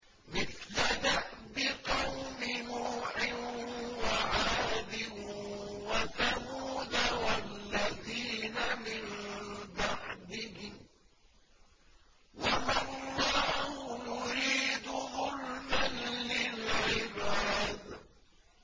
مِثْلَ دَأْبِ قَوْمِ نُوحٍ وَعَادٍ وَثَمُودَ وَالَّذِينَ مِن بَعْدِهِمْ ۚ وَمَا اللَّهُ يُرِيدُ ظُلْمًا لِّلْعِبَادِ